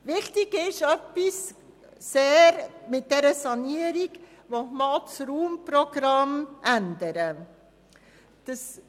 Sehr wichtig ist bei dieser Sanierung, dass man auch das Raumprogramm ändern will.